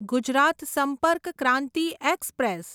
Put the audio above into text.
Gujarat Sampark Kranti express